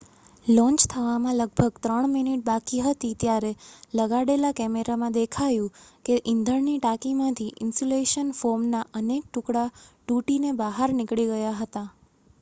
launch થવામાં લગભગ 3 minute બાકી હતી ત્યારે લગાડેલા કૅમેરામાં દેખાયું કે ઇંધણની ટાંકીમાંથી ઇન્સ્યુલેશન ફોમના અનેક ટુકડા તૂટીને બહાર નીકળી ગયા હતા